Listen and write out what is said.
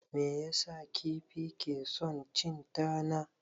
Me yasa kifi ke son cin tana?